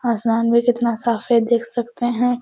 आसमान भी कितना साफ है देख सकते हैं।